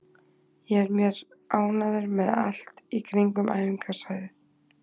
Ég er mér ánægður með allt í kringum æfingasvæðið.